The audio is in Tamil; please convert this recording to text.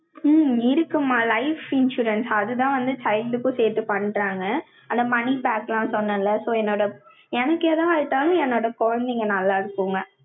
ஹம் இருக்குமா, life insurance, அதுதான் வந்து, side க்கும் சேர்த்து பண்றாங்க. ஆனா, money back எல்லாம் சொன்னேன்ல, so என்னோட எனக்கு எது ஆயிட்டாலும், என்னோட குழந்தைங்க நல்லா இருக்குங்க.